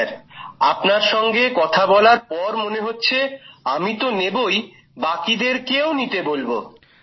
হ্যাঁ স্যার আপনার সঙ্গে কথা বলার পর মনে হচ্ছে আমি তো নেবই বাকিদের কেও নিতে বলবো